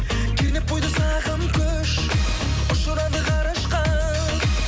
кернеп бойды сағым күш ұшырады ғарышқа